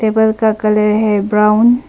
Table का colour है brown.